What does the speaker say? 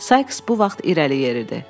Saiks bu vaxt irəli yeridi.